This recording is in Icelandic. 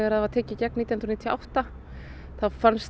það var tekið í gegn nítján hundruð níutíu og átta þá